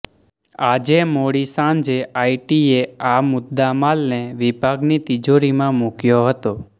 આજે મોડી સાંજે આઈટીએ આ મુદ્દામાલને વિભાગની તિજોરીમાં મુક્યો હતો